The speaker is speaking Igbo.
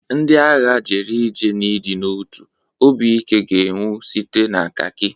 Ndị agha jere ije n'ịdị n'otu; obi ike ga-enwu site na khaki.